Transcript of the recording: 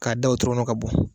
K'a da wotoro kɔnɔ ka bɔ